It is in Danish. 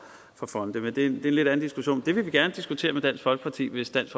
fonde det er en lidt anden diskussion men det vil vi gerne diskutere med dansk folkeparti hvis dansk